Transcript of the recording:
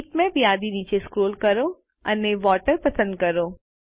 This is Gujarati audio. બીટમેપ યાદી નીચે સ્ક્રોલ કરો અને વોટર પસંદ કરો